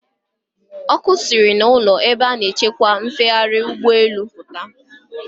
Ọkụ siri n'ụlọ ebe a na-achịkwa mfegharị ụgbọelu pụta.